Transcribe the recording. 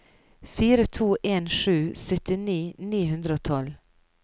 fire to en sju syttini ni hundre og tolv